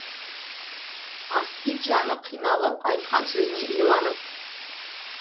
аспид жаны қиналып айтқан сөзіне иланып